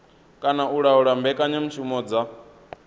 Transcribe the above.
kana u laula mbekanyamushumo dza